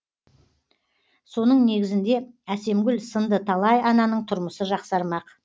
соның негізінде әсемгүл сынды талай ананың тұрмысы жақсармақ